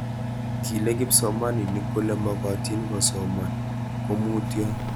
Kile kipsomanik kole magatin kosoman komutio sikokuyo komie